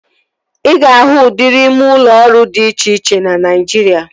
Ị ga-ahụ udịri ime ụlọ ọrụ dị iche iche na Naijiria